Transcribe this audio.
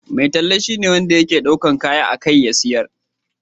Mai talla shine wanda ke daukar kaya a kai ya sayar.